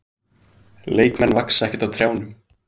Leikmenn vaxa ekkert á trjánum.